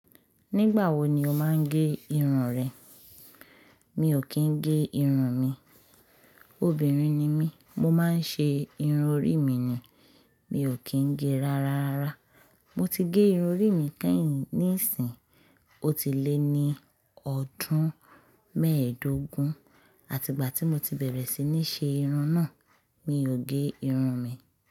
Nígbà wo ni o máa ń gé irun rẹ? Mi ò kí ń gé irun mi. Obìnrin ni mí, mo máa ń ṣe irun orí mi ni. Mi ò kí ń gé rara. Mo ti gé irun orí mi kẹ́yìn níìsín, ó ti lé ní ọdún mẹ́ẹ̀dógún, àti ìgbà tí mo ti bẹ̀rẹ̀ sí ní ṣe irun náà, mi ò gé irun mi.